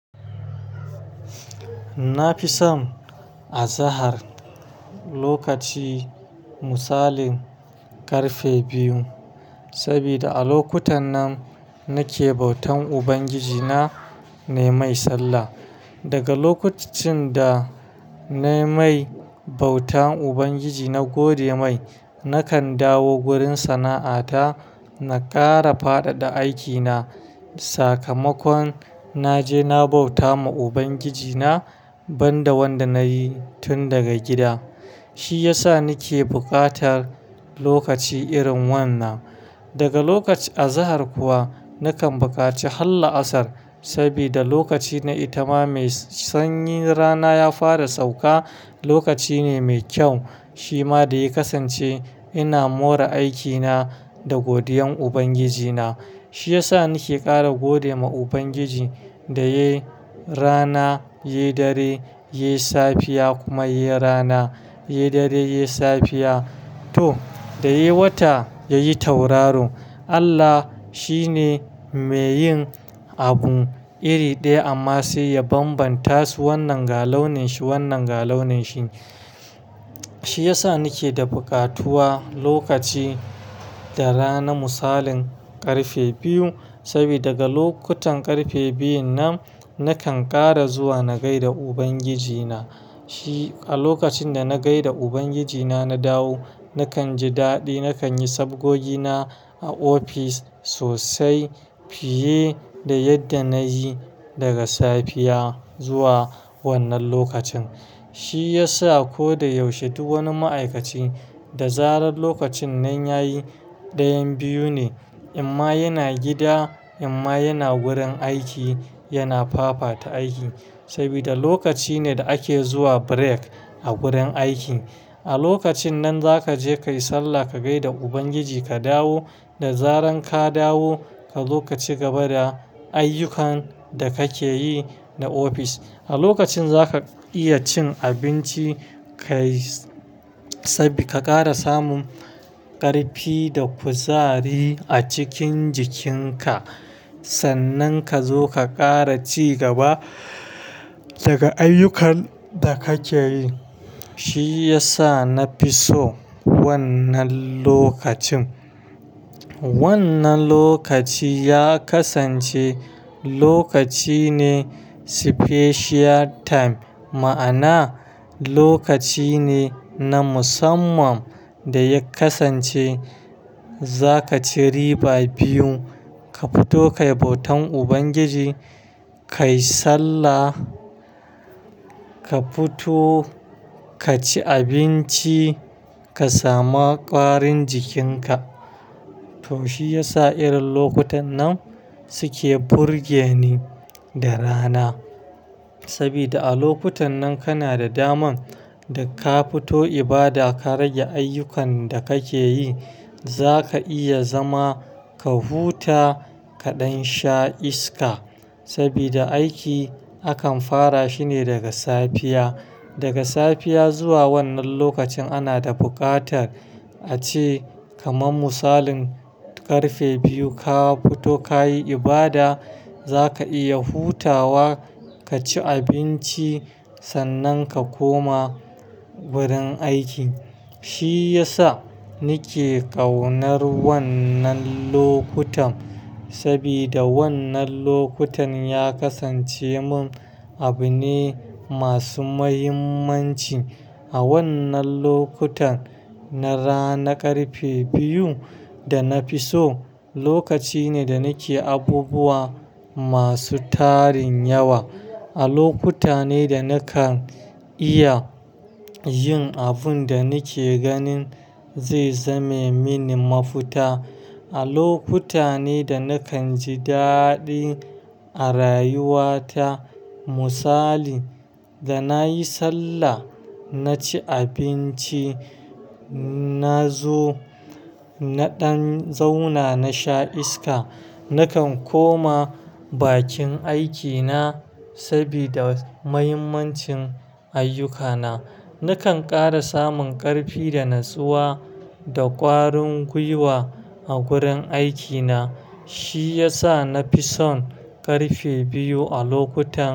Na fi son a zahar lokaci misalin karfe biyu, saboda a lokutan nan nake bautan Ubangiji na, nai mai sallah. Daga lokacin da nai mai bautan Ubangiji na gode mai nakan dawo wurin sana'a ta, na tara fadada aikina. Sakamakon naje na bauta ma Ubangiji na banda wanda nayi tun daga gida, shi yasa nike bukatar lokaci irin wannan. Daga lokaci a zahar kuwa nakan bukaci har la'asar sabida lokaci na itama mai sanyi rana ya fara sauka, lokaci ne mai kyau. Shi ma da ya kasance ina more aikina da godiyan Ubangiji na. Shi yasa nike kara gode ma Ubangiji da yai rana, yai dare, yai safiya kuma yai rana, yai dare, yai safiya to da yai wata yayi tauraro. Allah shi ne mai yin abu iri daya amma sai ya bambanta su wannan ga launin shi wannan ga launin shi. Shi yasa nike da bukatuwa lokaci da rana misalin karfe biyu, sabida daga lokutan karfe biyun nan nakan kara zuwa na gai da Ubangiji na. Shi a lokacin da na gai da Ubangiji na na dawo nakan ji dadi, nakan yi sabgogi na a ofis sosai fiye da yadda nayi daga safiya zuwa wannan lokacin. Shi yasa ko da yaushe duk wani ma'aikaci da zarar lokacin nan yayi dayan biyu ne, amma yana gida amma yana wurin aiki yana fafa ta aiki. Sabida lokaci ne da ake zuwa break a wurin aiki. A lokacin nan zaka je kayi sallah ka gai da Ubangiji ka dawo, da zaran ka dawo ka zo ka ci gaba da ayyukan da kake yi da ofis. A lokacin zaka iya cin abinci kayi-- sabika kara samun karfi da kuzari a cikin jikinka. Sannan kazo ka kara ci gaba daga ayyukan da kake yi. Shi yasa na fi so wannan lokacin. Wannan lokaci ya kasance lokaci ne "special time" ma'ana lokaci ne na musamman da ya kasance zakaci riba biyu. Ka fito kayi bautan Ubangiji, kayi sallah, ka fito ka ci abinci ka samu kwarin jikinka. To shi yasa irin lokutan nan suke burge ni da rana. Sabida a lokutan nan kana da daman da ka fito ibada ka rage ayyukan da kake yi, zaka iya zama ka huta kaɗan sha iska. Sabida aiki akan fara shine daga safiya. Daga safiya zuwa wannan lokacin ana da bukatar ace kaman misalin karfe biyu ka fito kayi ibada zaka iya hutawa ka ci abinci sannan ka koma wurin aiki. Shi yasa nike ƙaunar wannan lokutan sabida wannan lokutan ya kasance mun abu ne masu muhimmanci. A wannan lokutan na rana karfe biyu da na fi so lokaci ne da nike abubuwa masu tarin yawa. A lokuta ne da nakan iya yin abun da nike ganin zai zame mini mafita. A lokuta ne da nakan ji dadi a rayuwa ta misali da nayi sallah, na ci abinci, na zo na ɗan zauna na sha iska. Nakan koma bakin aikina sabida muhimmancin ayyukana. Nakan kara samun ƙarfi da natsuwa da ƙwarin gwiwa a wurin aikina. Shi yasa na fi son ƙarfe biyu a lokuta.